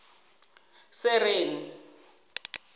sereni